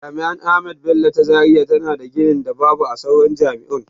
Jami'ar ahmadu bello ta zaria tana da ginin da babu a sauran jami'un.